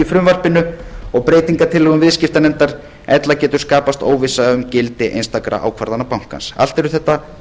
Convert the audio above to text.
í frumvarpinu og breytingartillögum meirihluta viðskiptanefndar ella getur skapast óvissa um gildi einstakra ákvarðana bankans allt eru þetta